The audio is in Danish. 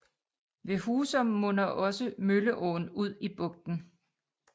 Ved Husum munder også Mølleåen ud i bugten